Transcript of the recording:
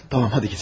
Yaxşı get.